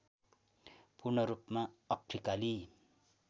पूर्णरूपमा अफ्रिकाली